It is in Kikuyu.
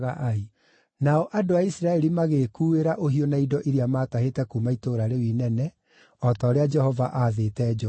Nao andũ a Isiraeli magĩkuuĩra ũhiũ na indo iria maatahĩte kuuma itũũra rĩu inene, o ta ũrĩa Jehova aathĩte Joshua.